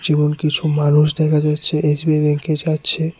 যেমন কিছু মানুষ দেখা যাচ্ছে এচ_বি_আই ব্যাংকে যাচ্ছে।